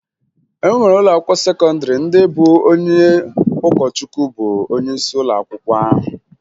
E nwere ụlọakwụkwọ sekọndịrị ndị bụ onye ụkọchukwu bụ onyeisi ụlọakwụkwọ ahụ